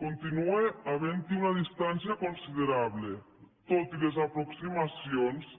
continua havent hi una distància considerable tot i les aproximacions